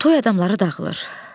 Toy adamları dağılır.